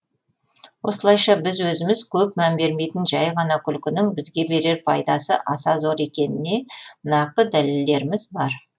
осылайша біз өзіміз көп мән бермейтін жай ғана күлкінің бізге берер пайдасы аса зор екеніне нақты дәлелдеріміз бар